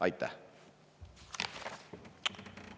Aitäh!